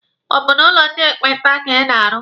Ọ bụ n'ụlọ ndị ekpenta ka ị na-arụ?